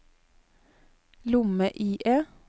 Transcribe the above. lomme-IE